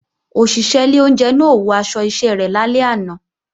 Òṣìṣẹ́ ilé oúnjẹ náà ò wọ aṣọ iṣẹ́ rẹ̀ lálẹ́ àná